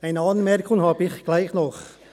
Eine Anmerkung habe ich gleichwohl.